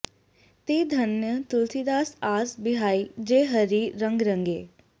ते धन्य तुलसीदास आस बिहाइ जे हरि रँग रँगे